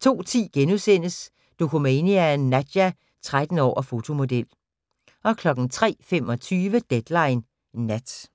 02:10: Dokumania: Nadja – 13 år og fotomodel * 03:25: Deadline Nat